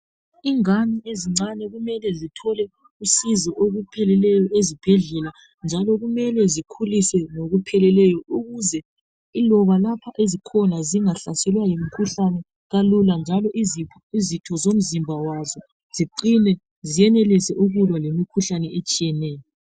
ingani ezincane kumele zithole usizo olupheleleyo eszibhedlela njalo kumele bekhuliswe ngokupheleleyo ukuze iloba lapha ezikhona zingahlaselwa yimkhuhlane kalula njalo izitho zemzimba yazo ziqine ziyenelise ukulwa lemikhuhlane etshiyeneyo